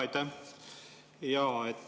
Aitäh!